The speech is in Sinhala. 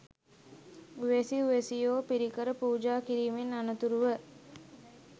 උවැසි උවැසියෝ පිරිකර පූජා කිරීමෙන් අනතුරුව